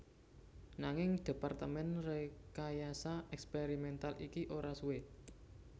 Nanging Departemen Rekayasa Eksperimental iki ora suwe